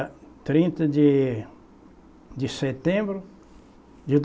Trinta de de setembro de